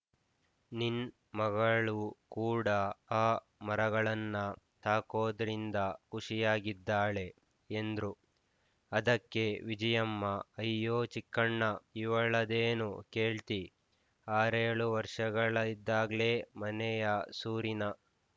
ನಿನ್ ಮಗಳು ಕೂಡ ಆ ಮರಗಳನ್ನ ಸಾಕೋದ್ರಿಂದ ಖುಷಿಯಾಗಿದ್ದಾಳೆ ಎಂದ್ರು ಅದಕ್ಕೆ ವಿಜಿಯಮ್ಮ ಅಯ್ಯೋ ಚಿಕ್ಕಣ್ಣ ಇವಳದೇನು ಕೇಳ್ತಿ ಆರೇಳು ವರ್ಷಗಳಿದ್ದಾಗ್ಲೆ ಮನೆಯ ಸೂರಿನ